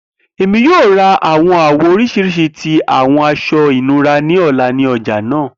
Emi yoo ra awọn awọ oriṣiriṣi ti awọn aṣọ inura ni ọla ni ọja naa.